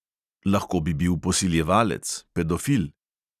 Lahko bi bil posiljevalec, pedofil.